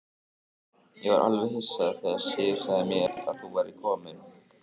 Ég var alveg hissa þegar Sif sagði mér að þú værir kominn.